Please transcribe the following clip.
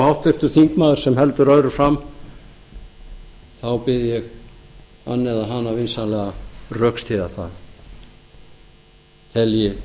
háttvirtur þingmaður sem heldur öðru fram þá bið ég hann eða hana vinsamlega að rökstyðja það telji sá